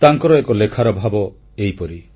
ତାଙ୍କର ଏକ ଲେଖାର ଭାବ ଏହିପରି